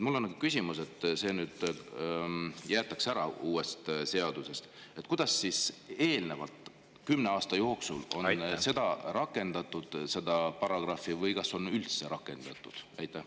Mul on küsimus: uuest seadusest jäetakse see nüüd välja, aga kuidas siis on eelneva kümne aasta jooksul seda paragrahvi rakendatud või kas üldse on rakendatud?